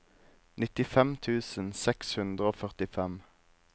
nittifem tusen seks hundre og førtifem